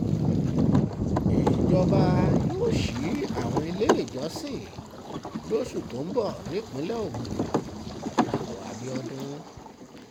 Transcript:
ìjọba ìjọba yóò ṣí àwọn iléèjọsìn lóṣù tó ń bọ̀ nípìnlẹ̀ ogun dàpọ̀ abiodun